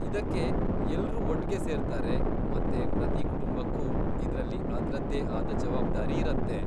ಇದಕ್ಕೆ ಎಲ್ರೂ ಒಟ್ಗೆ ಸೇರ್ತಾರೆ ಮತ್ತೆ ಪ್ರತಿ ಕುಟುಂಬಕ್ಕೂ ಇದ್ರಲ್ಲಿ ಅದ್ರದ್ದೇ ಆದ ಜವಾಬ್ದಾರಿ ಇರತ್ತೆ.